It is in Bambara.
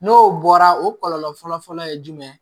N'o bɔra o kɔlɔlɔ fɔlɔ fɔlɔ ye jumɛn ye